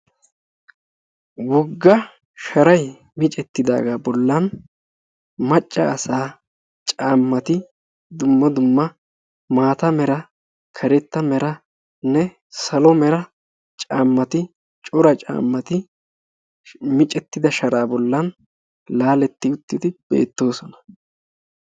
woga sharay micceti utidaagaa bolan dumma dumma caamati karetta mera, maata meranee cora caamati micetida sharaa boli laaletti uttidi beetoosona.